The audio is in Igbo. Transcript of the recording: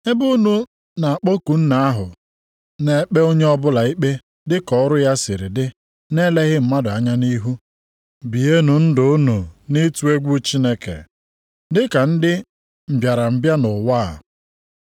Ebe unu na-akpọku Nna ahụ na-ekpe onye ọbụla ikpe dị ka ọrụ ya sịrị dị na-eleghị mmadụ anya nʼihu, bienụ ndụ unu nʼịtụ egwu Chineke, dịka ndị mbịarambịa nʼụwa a.